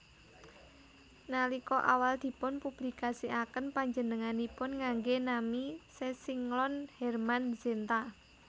Nalika awal dipun publikasiaken panjenenganipun nganggé nami sesinglon Hermann Zenta